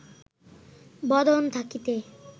বদন থাকিতে